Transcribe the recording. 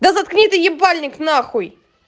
да заткни ты ебальник нахуй